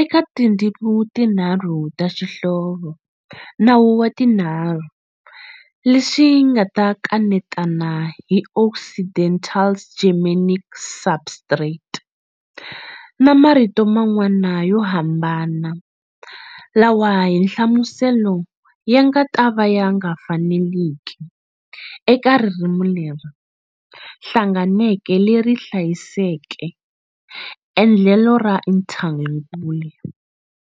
eka tindzimi tinharhu ta xihlovo "nawu wa tinharhu", leswi nga ta kanetana hi Occidental's Germanic substrate na marito man'wana yo hambana lawa hi nhlamuselo ya nga ta va ya nga faneleki eka ririmi leri hlanganeke leri hlayiseke endlelo ra Interlingua.